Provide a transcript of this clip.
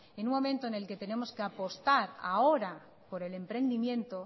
en un momento en el que tenemos que apostar ahora por el emprendimiento